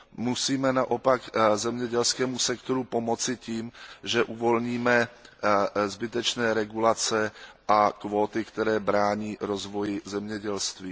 Musíme naopak zemědělskému sektoru pomoci tím, že uvolíme zbytečné regulace a kvóty, které brání rozvoji zemědělství.